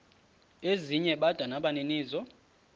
ezinye bada nabaninizo